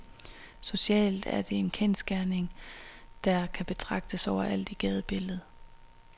Socialt er det en kendsgerning, der kan betragtes overalt i gadebilledet.